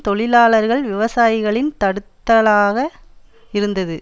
தொழிலாளர்கள் விவசாயிகளின் தடுத்தலாக இருந்தது